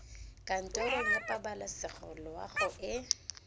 kantorong ya pabalesego loago e